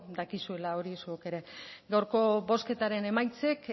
dakizuela hori zuok ere gaurko bozketaren emaitzek